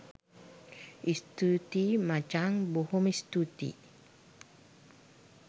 ස්තුතියි මචං බොහොම ස්තූතියි